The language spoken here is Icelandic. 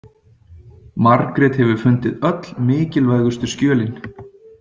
Margrét hefur fundið öll mikilvægustu skjölin.